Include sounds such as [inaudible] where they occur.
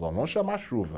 [unintelligible] vão chamar chuva.